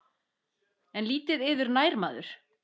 En lítið yður nær maður.